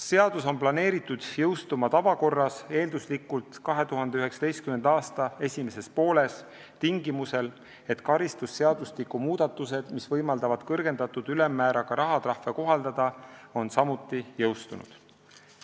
Seadus on planeeritud jõustuma tavakorras, eelduslikult 2019. aasta esimeses pooles, tingimusel, et karistusseadustiku muudatused, mis võimaldavad kõrgendatud ülemmääraga rahatrahve kohaldada, on samuti jõustunud.